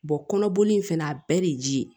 kɔnɔboli in fɛnɛ a bɛɛ de ji ye